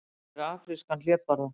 Myndin sýnir afrískan hlébarða.